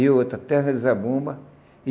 E outra, Terra de Zabumba.